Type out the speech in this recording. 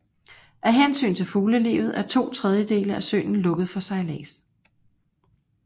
Af hensyn til fuglelivet er to tredjedele af søen lukket for sejlads